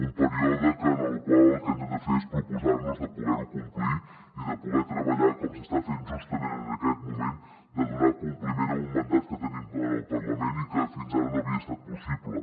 un període en el qual el que hem de fer és proposar nos de poder ho complir i de poder treballar com s’està fent justament en aquest moment de donar compliment a un mandat que tenim en el parlament i que fins ara no havia estat possible